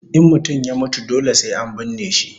In mutum ya mutu dole sai an binne shi